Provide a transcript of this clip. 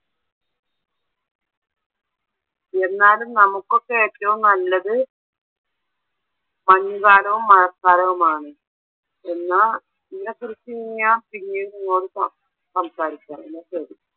എന്നാലും നമുക്കൊക്കെ ഏറ്റവും നല്ലത് മഞ്ഞുകാലവും, മഴക്കാലവുമാണ്. എന്നാ ഇതിനെ കുറിച്ച് ഞാൻ പിന്നീട് നിങ്ങളോട്സം സാരിക്കാം എന്നാ ശരി.